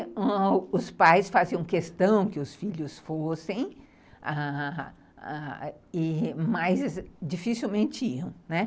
E os pais faziam questão que os filhos fossem, ãh... mas dificilmente iam.